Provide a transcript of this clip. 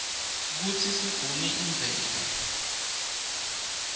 kutsi sigune imvelo